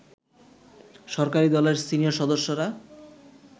সরকারি দলের সিনিয়র সদস্যরা